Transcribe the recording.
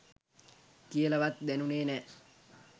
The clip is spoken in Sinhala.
කියලවත් දැනුනේ නෑ.